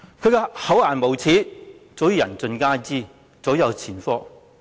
他的厚顏無耻早已人盡皆知，早有前科。